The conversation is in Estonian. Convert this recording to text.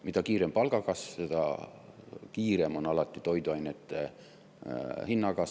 Mida kiirem palgakasv, seda kiirem on alati toiduainete hinna kasv.